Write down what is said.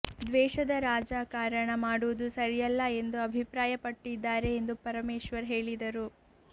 ದ್ವೇಷದ ರಾಜಕಾರಣ ಮಾಡುವುದು ಸರಿಯಲ್ಲ ಎಂದು ಅಭಿಪ್ರಾಯ ಪಟ್ಟಿದ್ದಾರೆ ಎಂದು ಪರಮೇಶ್ವರ್ ಹೇಳಿದರು